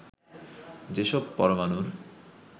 যেসব পরমাণুর